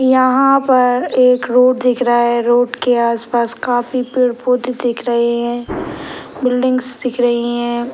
यहाँ पर एक रोड दिख रहा है रोड के आसपास काफी पेड़-पौधे दिख रहें हैं बिल्डिंग्स दिख रहीं हैं।